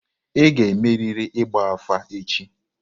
Ị ga-emerịrị ịgba afa echi!